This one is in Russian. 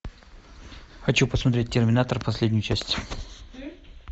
хочу посмотреть терминатор последнюю часть